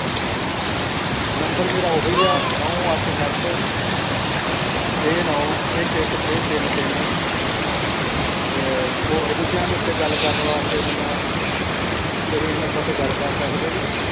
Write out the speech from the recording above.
number ਮੇਰਾ ਉਹ ਹੋ ਗਿਆ ਨੌ ਅੱਠ ਸਤ ਛੇ ਨੌ ਇੱਕ ਇੱਕ ਛੇ ਤਿੰਨ ਤਿੰਨ ਤੇ ਹੋਰ ਵਿਸ਼ਿਆਂ ਦੇ ਉੱਤੇ ਗੱਲ ਕਰਨ ਲਈ ਮੇਰੇ ਨਾਲ ਤੁਸੀਂ ਇਹ number ਤੇ ਗੱਲ ਕਰ ਸਕਦੇ ਹੋ